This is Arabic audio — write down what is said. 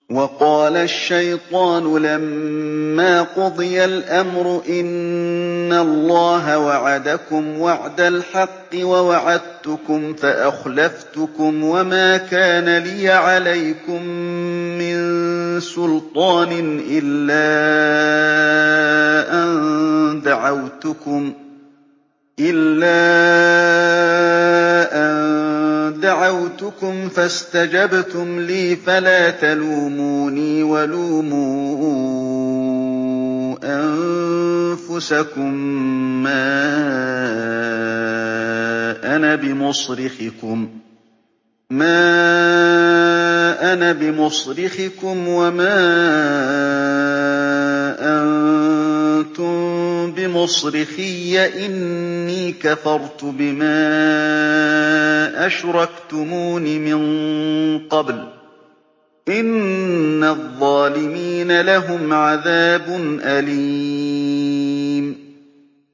وَقَالَ الشَّيْطَانُ لَمَّا قُضِيَ الْأَمْرُ إِنَّ اللَّهَ وَعَدَكُمْ وَعْدَ الْحَقِّ وَوَعَدتُّكُمْ فَأَخْلَفْتُكُمْ ۖ وَمَا كَانَ لِيَ عَلَيْكُم مِّن سُلْطَانٍ إِلَّا أَن دَعَوْتُكُمْ فَاسْتَجَبْتُمْ لِي ۖ فَلَا تَلُومُونِي وَلُومُوا أَنفُسَكُم ۖ مَّا أَنَا بِمُصْرِخِكُمْ وَمَا أَنتُم بِمُصْرِخِيَّ ۖ إِنِّي كَفَرْتُ بِمَا أَشْرَكْتُمُونِ مِن قَبْلُ ۗ إِنَّ الظَّالِمِينَ لَهُمْ عَذَابٌ أَلِيمٌ